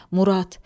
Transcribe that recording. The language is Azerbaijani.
Murad!